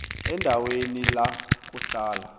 endaweni la kuhlala